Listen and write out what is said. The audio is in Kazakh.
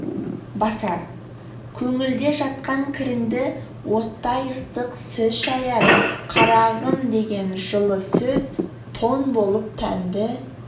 басар көңілде жатқан кіріңді оттай ыстық сөз шаяр қарағым деген жылы сөз тон болып тәнді